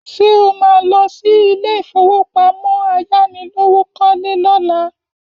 Ṣé o má lọ sí ilé ìfowópamọ́ ayánilówókọ́lé lọ́la?